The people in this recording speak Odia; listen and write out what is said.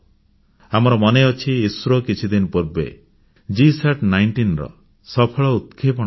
ଆମର ମନେଅଛି ଇସ୍ରୋ କିଛିଦିନ ପୂର୍ବେ GSAT19 ର ସଫଳ ପ୍ରକ୍ଷେପଣ କରିଥିଲା